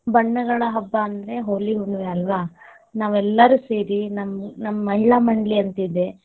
ಬಣ್ಣಗಳಾ ಹಬ್ಬಾ ಅಂದ್ರ ಹೋಳಿಹುಣ್ಣಿವಿ ಅಲ್ವಾ, ನಾವು ಎಲ್ಲಾರು ಸೇರಿ ನಮ್ ಮಹಿಳಾ ಮಂಡಳಿ ಅಂತ ಇದೇ.